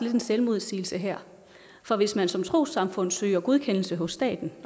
en selvmodsigelse her for hvis man som trossamfund søger godkendelse hos staten